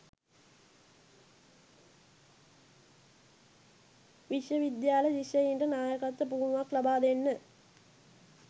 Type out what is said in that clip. විශ්ව විද්‍යාල ශිෂ්‍යයින්ට නායකත්ව පුහුණුවක් ලබා දෙන්න